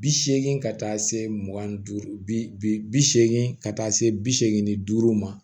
Bi segin ka taa se mugan ni duuru bi seegin ka taa se bi seegin ni duuru ma